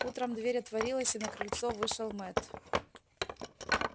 утром дверь отворилась и на крыльцо вышел мэтт